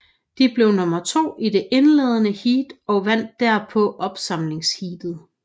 De blev nummer to i det indledende heat og vandt derpå opsamlingsheatet